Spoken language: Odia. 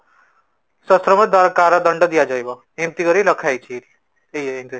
କାର ଦଣ୍ଡ ଦିଅ ଯିବା ଏମିତି କରିକି ରଖାଯାଇଛି ଏଇଠି